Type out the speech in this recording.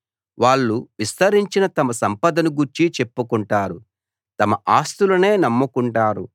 వాళ్ళు విస్తరించిన తమ సంపదలను గూర్చి చెప్పుకుంటారు తమ ఆస్తులనే నమ్ముకుంటారు